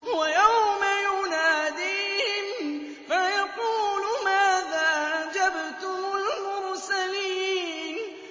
وَيَوْمَ يُنَادِيهِمْ فَيَقُولُ مَاذَا أَجَبْتُمُ الْمُرْسَلِينَ